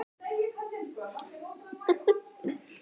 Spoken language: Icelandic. Hvað myndi ég gera á daginn?